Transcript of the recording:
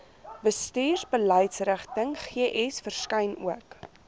bestuursbeleidsrigtings verskyn ook